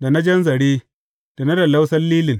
da na jan zare, da na lallausan lilin.